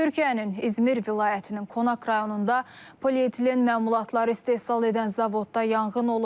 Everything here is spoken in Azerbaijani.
Türkiyənin İzmir vilayətinin Konak rayonunda polietilen məmulatları istehsal edən zavodda yanğın olub.